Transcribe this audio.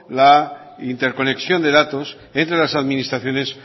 la interconexión de datos entre las administraciones